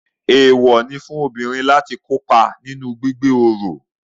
Eewọ ní fún obìnrin láti kópa nínú gbígbé oro